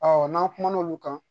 n'an kumana olu kan